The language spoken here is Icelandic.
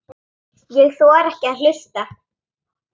Ég þori ekki að hlusta.